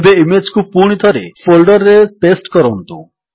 ଏବେ ଇମେଜ୍ କୁ ପୁଣିଥରେ ଫୋଲ୍ଡର୍ ରେ ପେଷ୍ଟ କରନ୍ତୁ